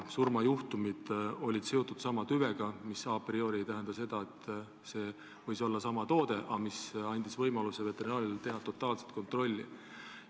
Surmajuhtumid olid seotud sellesama tüvega, mis a priori ei tähenda seda, et süüdi võis olla konkreetne toode, aga see andis veterinaarametile võimaluse teha totaalset kontrolli.